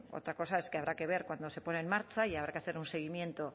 otra cosa es que habrá que ver cuándo se pone en marcha y habrá que hacer un seguimiento